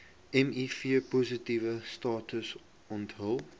mivpositiewe status onthul